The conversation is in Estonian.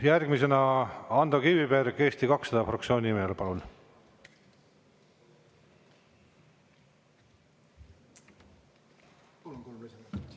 Järgmisena Ando Kiviberg Eesti 200 fraktsiooni nimel, palun!